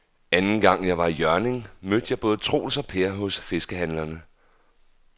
Anden gang jeg var i Hjørring, mødte jeg både Troels og Per hos fiskehandlerne.